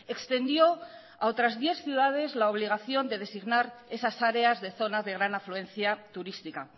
extendió a otras diez ciudades la obligación de designar esas áreas de zona de gran afluencia turística